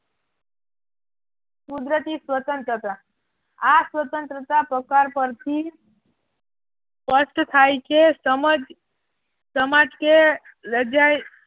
કુદરતી સ્વતંત્રતા આ સ્વતંત્રતા પસાર કરતી સ્પષ્ટ થાય છે સમજ સમાજ કે લજાય